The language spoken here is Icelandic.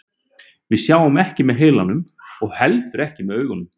Við sjáum ekki með heilanum og heldur ekki með augunum.